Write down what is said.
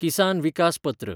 किसान विकास पत्र